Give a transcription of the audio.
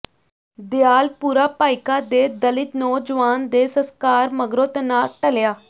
ਦਿਆਲਪੁਰਾ ਭਾਈਕਾ ਦੇ ਦਲਿਤ ਨੌਜਵਾਨ ਦੇ ਸਸਕਾਰ ਮਗਰੋਂ ਤਣਾਅ ਟਲਿਆ